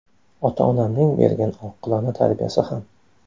Ota-onamning bergan oqilona tarbiyasi ham.